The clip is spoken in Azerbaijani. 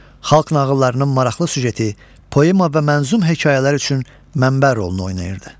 Xalq nağıllarının maraqlı süjeti, poema və mənzum hekayələr üçün mənbə rolunu oynayırdı.